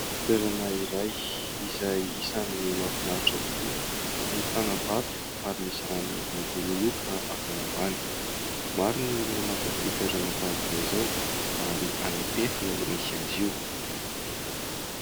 Toerana iray izay isan'ny mahafinaritra tokoa, ahitana vato ary misy rano mibononoika avy ao ambany. Maro ny olona mankafy toerana tahaka izao ary any Ampefy no misy azy io.